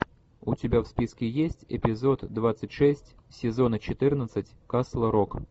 у тебя в списке есть эпизод двадцать шесть сезона четырнадцать касл рок